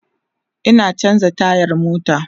Ina chanza tayar mota